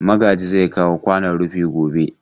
Magaji zai kawo kwanon rufi gobe.